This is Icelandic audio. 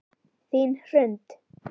Þín Hrund.